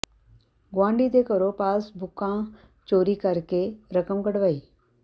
ਗੁਆਂਢੀ ਦੇ ਘਰੋਂ ਪਾਸ ਬੁੱਕਾਂ ਚੋਰੀ ਕਰਕੇ ਰਕਮ ਕਢਵਾਈ